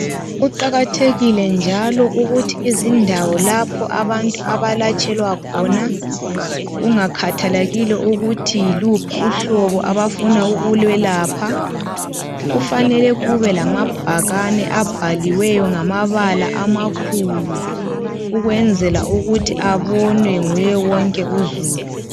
Kuqakathekile njalo ukuthi izindawo lapho abantu abalatshelwa khona kungakhathalekile ukuthi yiluphi uhlobo abafuna ukulwelapha. Kufanele kube lamabhakani abhaliweyo ngamabala amakhulu ,ukwenzela ukuthi abonwe nguye wonke uzulu.